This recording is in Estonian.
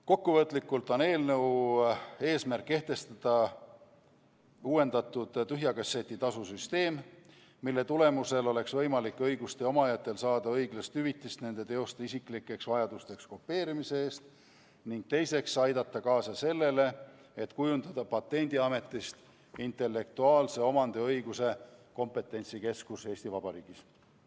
Kokkuvõtlikult on eelnõu eesmärk kehtestada uuendatud tühja kasseti tasu süsteem, mis võimaldaks õiguste omajatel saada õiglast hüvitist nende teoste isiklikeks vajadusteks kopeerimise eest, ning aidata kaasa sellele, et kujundada Patendiametist intellektuaalse omandi õiguse kompetentsikeskus Eesti Vabariigis.